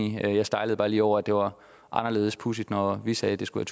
enige jeg stejlede bare lige over at det var anderledes pudsigt når vi sagde at det skulle